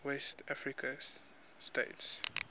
west african states